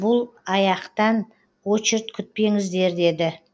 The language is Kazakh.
бұл аяқтан очерд күтпеңіздер деді